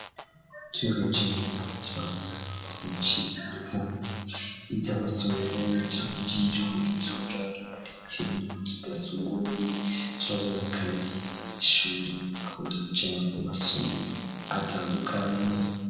Turavye neza, turabona Inyubakwa nziza zitandukanye ivya ,amasomero ,iyuburiro, iyuburaro ,ndetse nitugasuguwe turabona kandi y'ishure riko bararya ku masobiro atandukanye